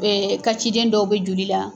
Ee ka ciden dɔw bɛ joli la